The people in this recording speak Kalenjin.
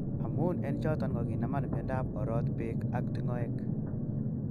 Amun en choton ko kinaman miondop orot peg ak tingoek.